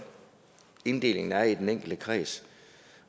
inddelingen er i den enkelte kreds